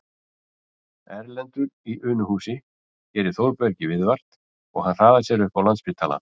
Erlendur í Unuhúsi gerir Þórbergi viðvart og hann hraðar sér upp á Landspítala